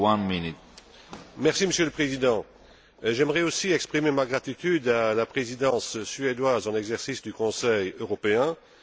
Monsieur le Président, j'aimerais aussi exprimer ma gratitude à la Présidence suédoise en exercice du Conseil européen, mais il reste un problème.